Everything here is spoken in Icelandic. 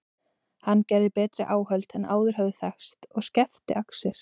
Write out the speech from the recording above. Hann gerði betri áhöld en áður höfðu þekkst og skefti axir.